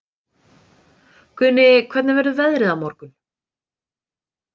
Guðni, hvernig verður veðrið á morgun?